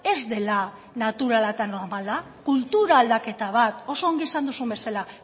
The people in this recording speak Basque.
ez dela naturala eta normala kultura aldaketa bat oso ongi esan duzun bezala